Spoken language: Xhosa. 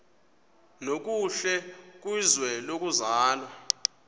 nokuhle kwizwe lokuzalwa